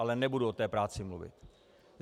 Ale nebudu o té práci mluvit.